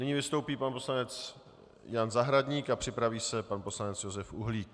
Nyní vystoupí pan poslanec Jan Zahradník a připraví se pan poslanec Josef Uhlík.